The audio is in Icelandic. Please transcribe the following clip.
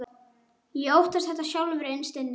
Ég óttaðist þetta sjálfur innst inni.